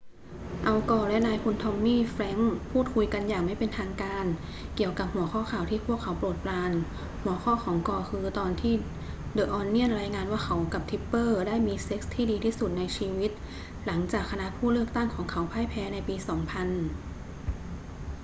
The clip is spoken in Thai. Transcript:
อัล กอร์และนายพลทอมมี่ แฟรงกส์พูดคุยกันอย่างไม่เป็นทางการเกี่ยวกับหัวข้อข่าวที่พวกเขาโปรดปราน หัวข้อของกอร์คือตอนที่เดอะ ออนเนียนรายงานว่าเขากับทิปเปอร์ได้มีเซ็กซ์ที่ดีที่สุดในชีวิต หลังจากคณะผู้เลือกตั้งของเขาพ่ายแพ้ในปี 2000